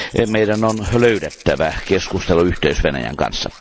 Meidän on löydettävä keskusteluyhteys Venäjän kanssa.